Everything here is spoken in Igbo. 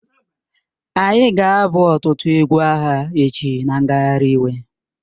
Anyị ga-abụ ọtụtụ egwu agha echi na ngagharị iwe